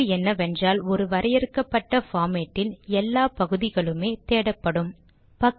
முன்னிருப்பு என்னவென்றால் ஒரு வரையறுக்கப்பட்ட பார்மேட்டில் எல்லா பகுதிகளுமே தேடப்படும்